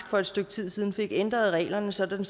for et stykke tid siden fik ændret reglerne sådan